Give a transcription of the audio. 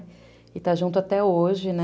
E está junto até hoje, né?